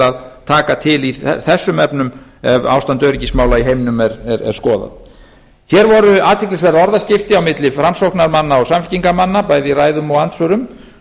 að taka til þessum efnum ef ástand öryggismála í heiminum er skoðað hér voru athyglisverð orðaskipti á milli framsóknarmanna og samfylkingarmanna bæði í ræðum og andsvörum